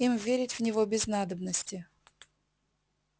им верить в него без надобности